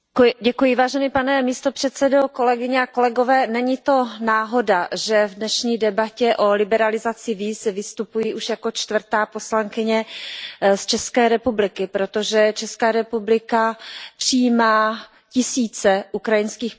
Pane předsedající, není to náhoda, že v dnešní debatě o liberalizaci víz vystupuji už jako čtvrtá poslankyně z České republiky, protože Česká republika přijímá tisíce ukrajinských pracovníků.